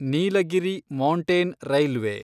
Nilgiri mountain railway